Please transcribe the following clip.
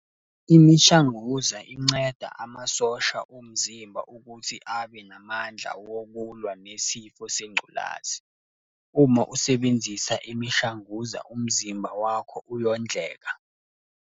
Imishanguza inceda amasosha omzimba ukuthi abe namandla wokulwa nesifo sengculazi. Uma usebenzisa imishanguza umzimba wakho uyondleka.